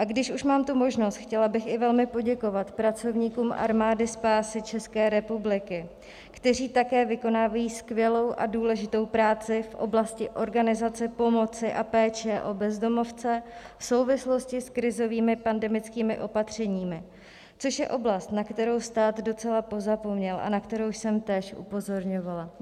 A když už mám tu možnost, chtěla bych i velmi poděkovat pracovníkům Armády spásy České republiky, kteří také vykonávají skvělou a důležitou práci v oblasti organizace pomoci a péče o bezdomovce v souvislosti s krizovými pandemickými opatřeními, což je oblast, na kterou stát docela pozapomněl a na kterou jsem též upozorňovala.